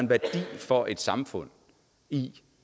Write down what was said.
en værdi for et samfund i